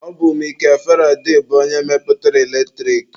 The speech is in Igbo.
Ọ bụ Mikel Faraday bụ onye mepụtara eletrik.